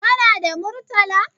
Kana da Murtala?